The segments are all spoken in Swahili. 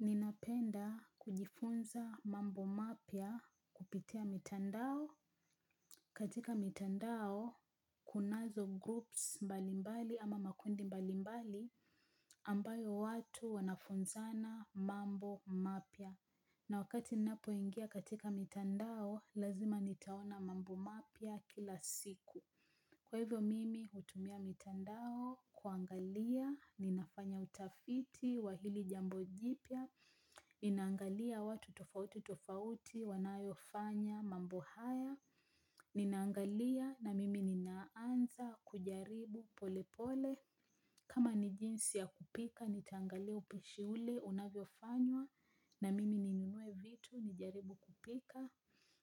Ninapenda kujifunza mambo mapya kupitia mitandao katika mitandao kunazo groups mbalimbali ama makundi mbalimbali ambayo watu wanafunzana mambo mapia. Na wakati ninapoingia katika mitandao lazima nitaona mambo mapya kila siku. Kwa hivyo mimi hutumia mitandao, kuangalia, ninafanya utafiti, wa hili jambo jipya, ninaangalia watu tofauti tofauti, wanayofanya, mambo haya, ninaangalia na mimi ninaanza, kujaribu pole pole, kama ni jinsi ya kupika, nitaangalia upishi ule, unavyofanywa, na mimi ninunue vitu, nijaribu kupika.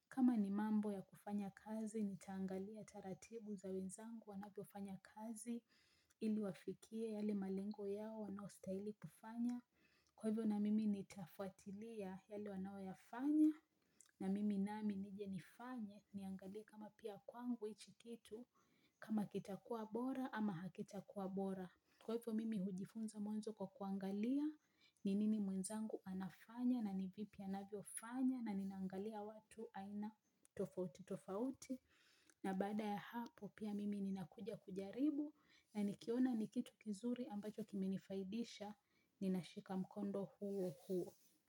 Kama ni mambo ya kufanya kazi nitaangalia taratibu za wenzangu wanavyofanya kazi ili wafikie yale malengo yao wanayo stahili kufanya. Kwa hivyo na mimi nitafwatilia yale wanayoyafanya na mimi nami nije nifanye niangalie kama pia kwangu hichi kitu kama kitakuwa bora ama hakitakuwa bora. Kwa hivyo mimi hujifunza mwanzu kwa kuangalia ni nini mwenzangu anafanya na nivipi anavyo fanya na ninaangalia watu aina tofauti tofauti. Na baada ya hapo pia mimi ninakuja kujaribu na nikiona nikitu kizuri ambacho kimenifaidisha ninashika mkondo huo huo.